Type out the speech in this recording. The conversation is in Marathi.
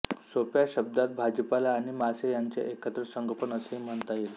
सोप्या शब्दात भाजीपाला आणि मासे ह्याचे एकत्रित संगोपन असेही म्हणता येईल